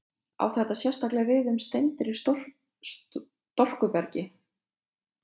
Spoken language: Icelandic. Á þetta sérstaklega við um steindir í storkubergi.